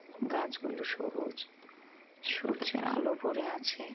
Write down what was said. গাছগুলো সবুজ সূর্যের আলো পরে আছে।